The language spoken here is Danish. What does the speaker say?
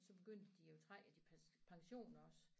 Så begyndte de at trække af din pension også